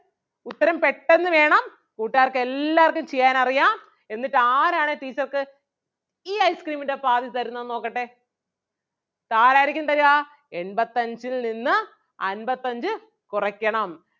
ഉത്തരം പെട്ടെന്ന് വേണം കൂട്ടുകാർക്ക് എല്ലാർക്കും ചെയ്യാൻ അറിയാം എന്നിട്ട് ആരാണ് teacher ക്ക് ഈ ice cream ൻ്റെ പാതി തരുന്നതെന്ന് നോക്കട്ടേ ഇതാരാരിക്കും തരുക എൺപത്തഞ്ചിൽ നിന്ന് അൻപത്തഞ്ച് കുറയ്ക്കണം.